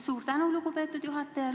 Suur tänu, lugupeetud juhataja!